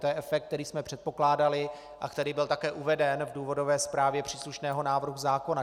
To je efekt, který jsme předpokládali a který byl také uveden v důvodové zprávě příslušného návrhu zákona.